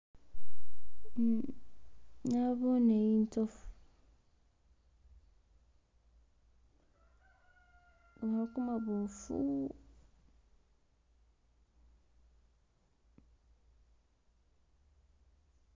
Uh nabone inzofu uno kumaboofu